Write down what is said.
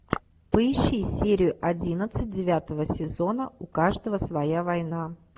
поищи серию одиннадцать девятого сезона у каждого своя война